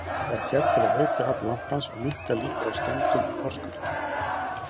Þetta er gert til að auka afl lampans og minnka líkur á skemmdum í forskautinu.